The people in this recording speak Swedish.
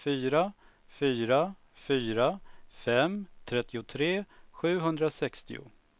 fyra fyra fyra fem trettiotre sjuhundrasextio